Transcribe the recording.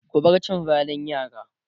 ku bar cin zalin yara!